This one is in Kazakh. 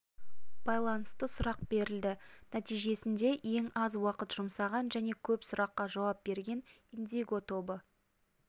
байланысты сұрақ берілді нәтижесінде ең аз уақыт жұмсаған және көп сұраққа жауап берген индиго тобы